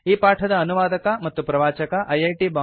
ಈ ಪಾಠದ ಅನುವಾದಕ ಮತ್ತು ಪ್ರವಾಚಕ ಐಐಟಿ